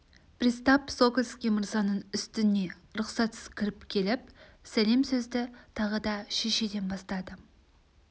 пристав сокольский мырзаның үстіне рұқсатсыз кіріп келіп сәлем сөзді тағы да шешеден бастады